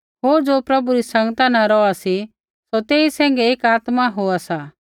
होर ज़ो प्रभु री संगता न रौहा सी सौ तेई सैंघै एक आत्मा होआ सा